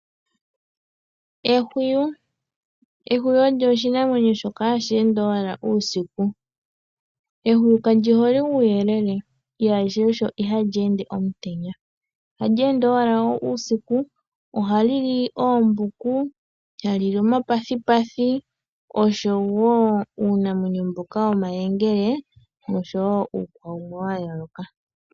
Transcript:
Ehwiyu olyo oshinamwenyo shoka hashi ende owala uusiku. Ehwiyu ka lyi hole uuyelele, sho osho ihali ende omutenya. Ohali ende owala uusiku, ohali li oombuku, hali li omapathipathi, oshowo uunamwenyo mboka womayengele noshowo uupuka wumwe wa yooloka.